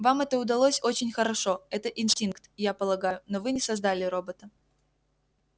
вам это удалось очень хорошо это инстинкт я полагаю но вы не создали робота